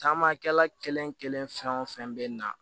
Taamakɛla kelen kelen fɛn o fɛn bɛ na